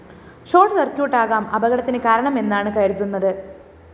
short സർക്യൂട്ടാകാം അപകടത്തിന് കാരണമെന്നാണ് കരുതുന്നത്